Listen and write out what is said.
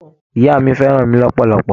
Ìyá mi fẹ́ràn mi lọ́pọ̀lọpọ̀.